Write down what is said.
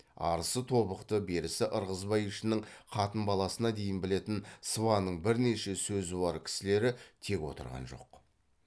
арысы тобықты берісі ырғызбай ішінің қатын баласына дейін білетін сыбанның бірнеше сөзуар кісілері тек отырған жоқ